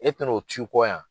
E tɛ n'o t'u kɔ yan